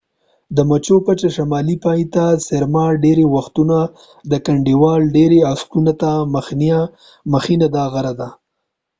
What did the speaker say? د مچو پچه شمالي پای ته څیرمه ډیری وختونه د کنډوال ډیری عکسونو ته مخینه دا غره ده